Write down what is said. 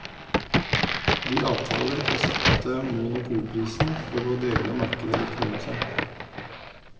De avtaler å sette monopolprisen og å dele markedet likt mellom seg.